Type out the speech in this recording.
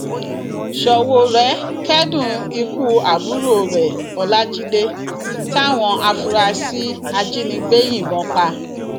ṣowórẹ kẹdùn ikú àbúrò rẹ ọlajide táwọn afurasí ajínigbé yìnbọn pa